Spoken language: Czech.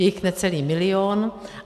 Je jich necelý milion.